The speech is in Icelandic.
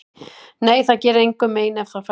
Nei, það gerir engum mein ef það fær að vera í friði.